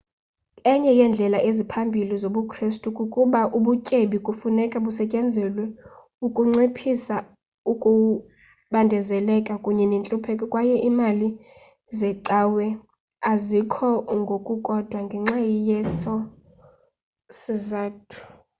enye yeendlela eziphambili zobukristu kukuba ubutyebi kufuneka busetyenziselwe ukunciphisa ukubandezeleka kunye nentlupheko kwaye iimali zecawa zikho ngokukodwa ngenxa yeso sizathu